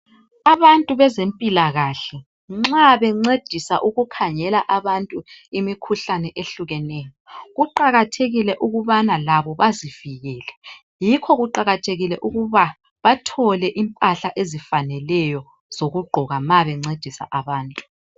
Abantu bezimpilakahle, nxa bencedisa ukukhangela abantu imikhuhlane ehlukeneyo. Kuqakathekile ukubana labo bazivikele. Yikho kuqakathekile ukuba bathole impahla ezifaneleyo zokugqoka ma bencedisa abantu.